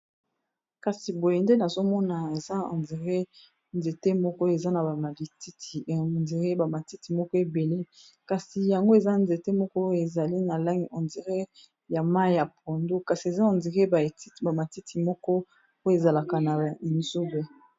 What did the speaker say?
kasi boye nde nazomona eza ondiré nzete moko eza na endire bamatiti moko ebele kasi yango eza nzete moko ezali na lange endiré ya mai ya pondo kasi eza ondire tit bamatiti moko po ezalaka na imisube